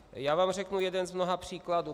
Já vám řeknu jeden z mnoha příkladů.